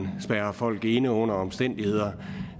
spærrer folk inde under omstændigheder